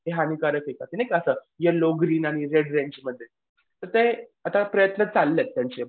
ते हानिकारक आहे का ते नाही का असं ग्रीन आणि रेड रेंजमध्ये तर ते आता प्रयत्न चाललेत त्यांचे.